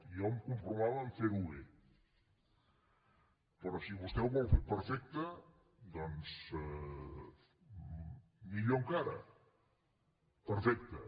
jo em conformava a fer ho bé però si vostè ho vol fer perfecte millor encara perfecte